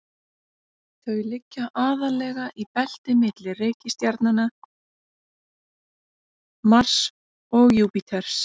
þau liggja aðallega í belti milli reikistjarnanna mars og júpíters